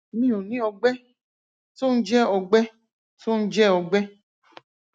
mi ò ní ọgbẹ tó ń jẹ ọgbẹ tó ń jẹ ọgbẹ